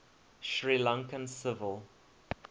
sri lankan civil